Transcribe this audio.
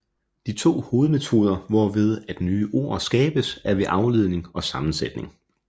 De to hovedmetoder hvorved at nye ord skabes er ved afledning og sammensætning